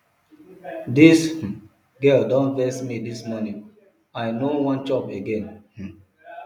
dis um girl don vex me dis morning i no wan chop again um